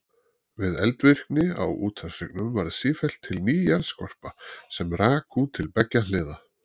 Við eldvirkni á úthafshryggnum varð sífellt til ný jarðskorpa sem rak út til beggja hliða.